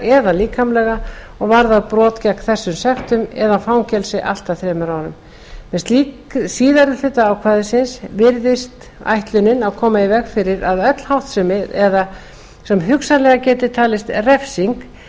eða líkamlega og varðar brot gegn þessu sektum eða fangelsi allt að þremur árum með síðari hluta ákvæðisins virðist ætlunin að koma í veg fyrir að öll háttsemi sem hugsanlega geti talist refsing